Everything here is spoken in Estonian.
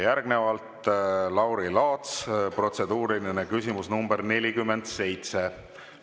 Järgnevalt, Lauri Laats, protseduuriline küsimus nr 47.